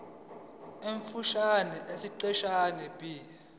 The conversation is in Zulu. omfushane esiqeshini b